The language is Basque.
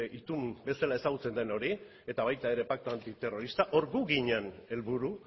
itun bezala ezagutzen den hori eta baita ere paktu antiterrorista hor gu ginen helburu